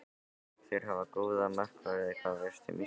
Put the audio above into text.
Þeir hafa góða markverði Hvað veistu um Ísland?